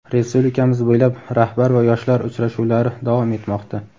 Respublikamiz bo‘ylab "Rahbar va yoshlar" uchrashuvlari davom etmoqda.